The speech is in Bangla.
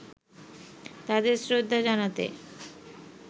তাদের শ্রদ্ধা জানাতে